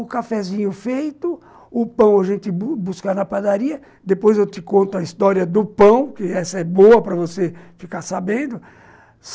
O cafezinho feito, o pão a gente bus, buscava na padaria, depois eu te conto a história do pão, que essa é boa para você ficar sabendo.